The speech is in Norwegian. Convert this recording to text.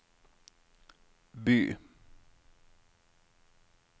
by